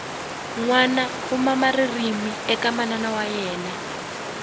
nwana u mama ririmi eka mana wa yemna